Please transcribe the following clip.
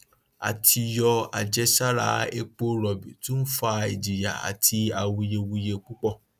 àtìyọ àjẹsára epo rọbì tún fa ìjìyà àti awuyewuye púpọ